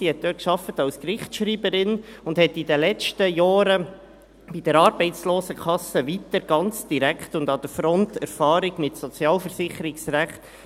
Sie arbeitete dort als Gerichtsschreiberin, und sie sammelte in den letzten Jahren bei der Arbeitslosenkasse ganz direkt und an der Front weitere Erfahrungen im Sozialversicherungsrecht.